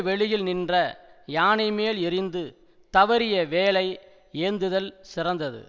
வெளியில் நின்ற யானை மேல் எறிந்து தவறிய வேலை ஏந்துதல் சிறந்தது